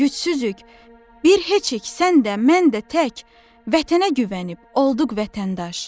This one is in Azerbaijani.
Gücsüzük, bir heçik sən də, mən də tək, vətənə güvənib olduq vətəndaş.